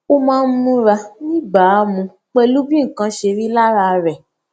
ó máa ń múra níbàámu pèlú bí nǹkan ṣe rí lára rè